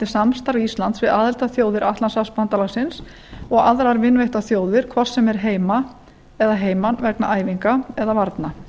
samstarf íslands við aðildarþjóðir atlantshafsbandalagsins og aðrar vinveittar þjóðir hvort sem er heima eða heiman vegna æfinga eða varna